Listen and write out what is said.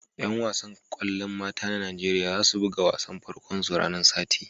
Yan wasan kwallon mata na Nijeriya za su buga wasan farko'n su ranan Sati.